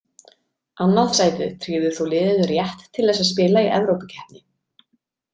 Annað sætið tryggði þó liðinu rétt til þess að spila í evrópukeppni.